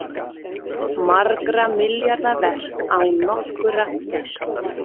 Margra milljarða verk án nokkurrar gæslu